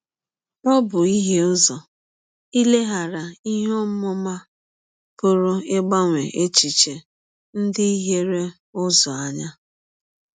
Ọ bụ ihie ụzọ, ileghara ihe ọmụma pụrụ ịgbanwe echiche ndị hiere ụzọ, anya.